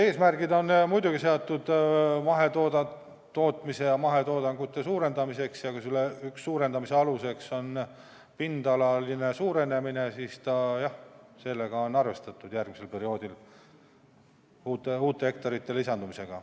Eesmärgiks on muidugi seatud mahetootmise ja mahetoodangu suurendamine ja kui üks suurendamise alus on pindalaline kasv, siis jah, sellega on arvestatud järgmisel perioodil, uute hektarite lisandumisega.